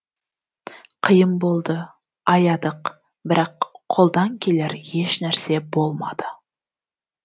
қиын болды аядық бірақ қолдан келер ешнәрсе болмады